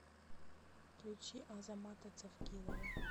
включи азамата цавкилова